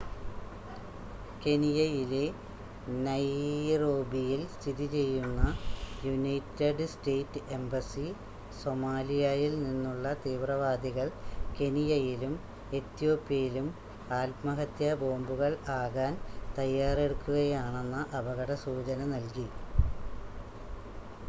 കെനിയയിലെ നൈറോബിയിൽ സ്ഥിതിചെയ്യുന്ന United State embassy സൊമാലിയായിൽ നിന്നുള്ള തീവ്രവാദികൾ കെനിയയിലും ഏതോപ്യയിലും ആത്മഹത്യാബോംബുകൾ ആകാൻ തയ്യാറെടുക്കുകയാണെന്ന അപകടസൂചന നൽകി